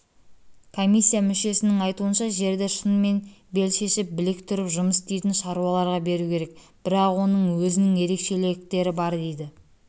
комиссия мүшесінің айтуынша жерді шынымен бел шешіп білек түріп жұмыс істейтін шаруаларға беру керек бірақ оның өзінің ерекшеліктері бар дейді